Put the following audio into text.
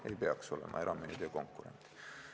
Ei peaks olema erameedia konkurent!